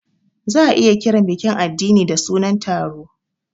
Za a iya kiran bikin addini da sunan taro.